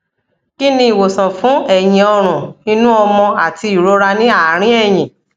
kí ni ìwòsàn fún ẹyìn ọrùn inú ọmọ àti ìrora ní àárín ẹyìn